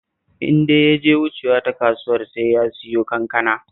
In dai ya je wucewa ta kasuwar sai ya siyo kankana